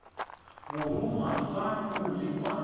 borongwa fa o le kwa